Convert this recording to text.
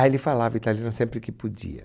Aí ele falava italiano sempre que podia.